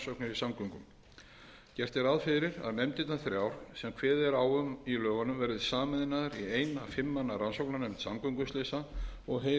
samgöngum gert er ráð fyrir að nefndirnar þrjár sem kveðið er á um í lögunum verði sameinaðar í eina fimm manna rannsóknarnefnd samgönguslysa og heyri undir ráðherra